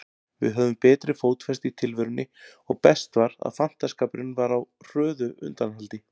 Við höfðum betri fótfestu í tilverunni og best var, að fantaskapurinn var á hröðu undanhaldi.